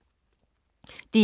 DR1